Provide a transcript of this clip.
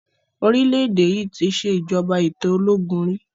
Orile Ede yí ti ṣe ìjọba ètò ológun rí.